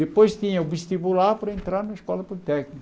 Depois tinha o vestibular para entrar na escola politécnica.